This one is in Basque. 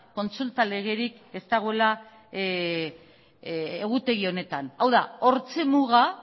kontsulta legerik ez dagoela egutegi honetan hau da hortxe muga